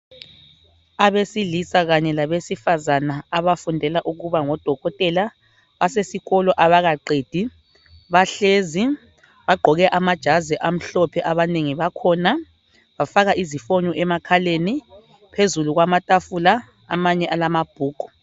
Abesilisa kanye labesifazana abafundela ukuba ngodokotela basesikolo abakaqedi bahlezi bagqoke amajazi amhlophe abanengi bakhona bafaka izifonyo emakhaleni, phezulu kwamatafula amanye alamabhuku.